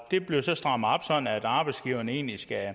det bliver så strammet op sådan at arbejdsgiveren egentlig skal